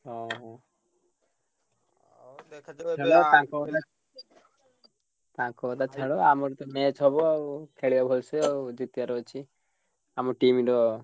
ହଁ ହଁ। ତାଙ୍କ କଥା ଛାଡ ଆମର ତ match ହବ ଆଉ ଖେଳିଆ ଭଲ ସେ ଆଉ ଅଛି। ଆମ team ର,